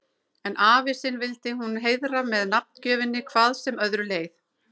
En afa sinn vildi hún heiðra með nafngjöfinni hvað sem öðru leið.